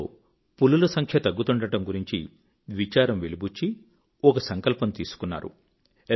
అందులో పులుల సంఖ్య తగ్గుతుండడం గురించి విచారం వెలిబుచ్చి ఒక సంకల్పం తీసుకున్నారు